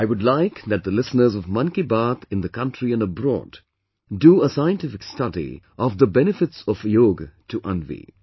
I would like that the listeners of 'Mann Ki Baat' in the country and abroad do a scientific study of the benefits of yoga to Anvi